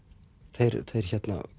þeir